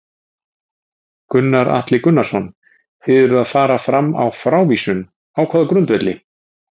Gunnar Atli Gunnarsson: Þið eruð að fara fram á frávísun, á hvaða grundvelli?